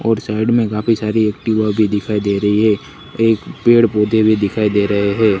और साइड में काफी सारी एक्टिवा भी दिखाई दे रही है एक पेड़ पौधे भी दिखाई दे रहे हैं।